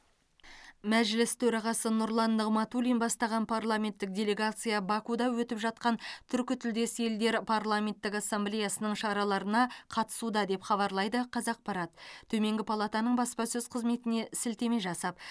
мәжіліс төрағасы нұрлан нығматулин бастаған парламенттік делегация бакуде өтіп жатқан түркітілдес елдер парламенттік ассамблеясының шараларына қатысуда деп хабарлайды қазақпарат төменгі палатаның баспасөз қызметіне сілтеме жасап